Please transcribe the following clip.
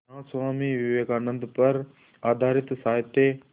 यहाँ स्वामी विवेकानंद पर आधारित साहित्य